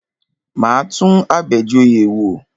Máa tún Abejoye wò.